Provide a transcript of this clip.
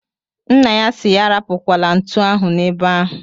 Nna ya si ya arapukwala ntu ahụ na ebe ahu